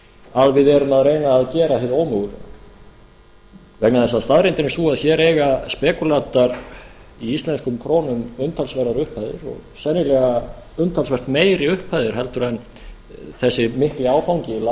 að við erum að reyna að gera hið ómögulega vegna þess að staðreyndin er sú að hér eiga spekúlantar í íslenskum krónum umtalsverðar upphæðir og sennilega umtalsvert meiri upphæðir heldur en þessi mikli áfangi lánið frá